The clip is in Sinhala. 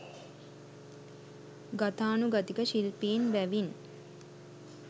ගතානුගතික ශිල්පීන් බැවින්